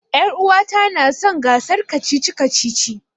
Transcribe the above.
Ƴaruwata na son gasar kacici-kacici.